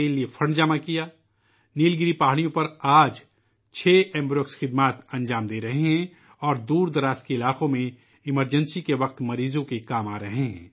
آج چھ ایمبو آر ایکس نیل گری پہاڑی علاقوں میں اپنی خدمات پیش کر رہی ہیں اور ہنگامی صورتحال کے دوران دور دراز کے علاقوں میں مریضوں کو مدد فراہم کر رہی ہیں